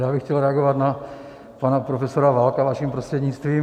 Já bych chtěl reagovat na pana profesora Válka vaším prostřednictvím.